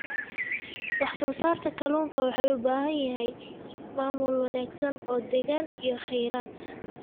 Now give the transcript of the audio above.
Wax-soo-saarka kalluunka wuxuu u baahan yahay maamul wanaagsan oo deegaan iyo kheyraad.